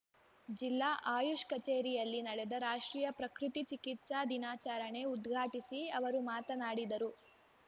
ಜಿಲ್ಲಾ ಆಯುಷ್‌ ಕಚೇರಿಯಲ್ಲಿ ನಡೆದ ರಾಷ್ಟ್ರೀಯ ಪ್ರಕೃತಿ ಚಿಕಿತ್ಸಾ ದಿನಾಚರಣೆ ಉದ್ಘಾಟಿಸಿ ಅವರು ಮಾತನಾಡಿದರು